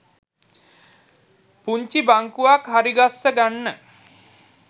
පුංචි බංකුවක් හරිගස්ස ගන්න